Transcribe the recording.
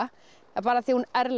bara af því hún